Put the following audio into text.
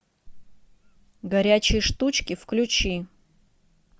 горячие штучки включи